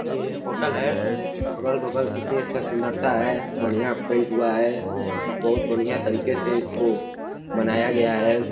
ये होटल है। अगल बगल कितनी अच्छा सुन्दरता है। बढ़िया पेंट हुआ है। बहुत बढ़िया तरीके से इसको बनाया गया है।